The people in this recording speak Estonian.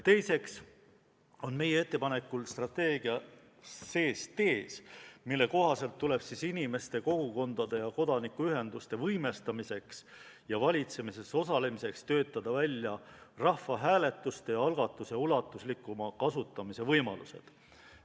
Teiseks on meie ettepanekul strateegias tees, mille kohaselt tuleb inimeste, kogukondade ja kodanikuühenduste võimestamiseks ja valitsemises osalemiseks töötada välja rahvahääletuse ja -algatuse ulatuslikuma kasutamise võimalused.